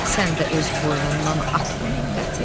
Sən də öz boynundan at bu minnəti.